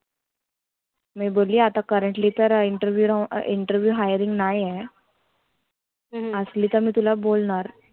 मी बोलली आता currently तर interview interview hiring नाही ये. आसली तर मी तुला बोलनार.